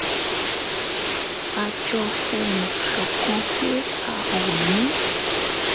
a jọ fohùn ṣọ̀kan pé a ò ní